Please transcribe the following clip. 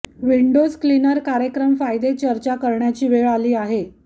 Windows cleaner कार्यक्रम फायदे चर्चा करण्याची वेळ आली आहे